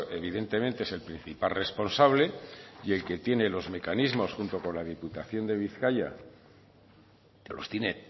evidentemente es el principal responsable y el que tiene los mecanismos junto con la diputación de bizkaia los tiene